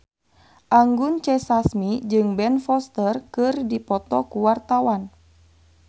Anggun C. Sasmi jeung Ben Foster keur dipoto ku wartawan